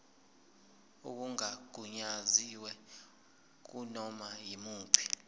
okungagunyaziwe kunoma yimuphi